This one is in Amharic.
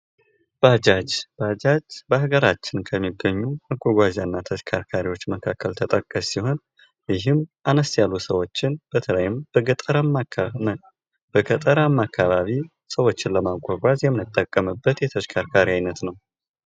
ባጃጅ በሀገራችን ከሚገኙ መጓጓዣ እና ተሽከርካሪዎች መካከል ተጠቃሽ ሲሆን ይህም አነስ ያሉ ሰዎች በተለይም በገጠርማ አካባቢ ሰዎችን ለማጓጓዝ የምንጠቀምበት የ ተሽከርካሪ አይነት ነው።